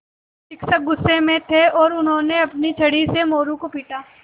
शिक्षक गुस्से में थे और उन्होंने अपनी छड़ी से मोरू को पीटा